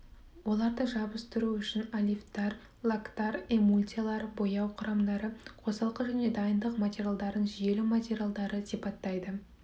оларды жабыстыру үшін олифтар лактар эмульсиялар бояу құрамдары қосалқы және дайындық материалдарын желім материалдары сипаттайды